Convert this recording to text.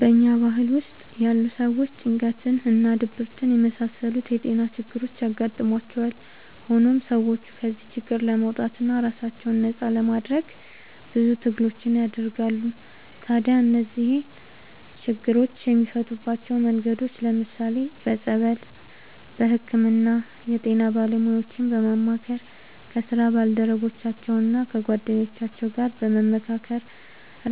በኛ ባህል ውስጥ ያሉ ሰዎች ጭንቀት እና ድብርት የመሳሰሉት የጤና ችግሮች ያጋጥሟቸዋል። ሆኖም ሰዎቹ ከዚህ ችግር ለመውጣትና ራሳቸውን ነፃ ለማድረግ ብዙ ትግሎችን ያደርጋሉ። ታዲያ እነዚህን ችግሮች የሚፈቱባቸው መንገዶች ለምሳሌ፦ በፀበል፣ በህክምና፣ የጤና ባለሙያዎችን በማማከር፣ ከስራ ባልደረቦቻቸው እና ከጓደኞቻቸው ጋር በመካከር፣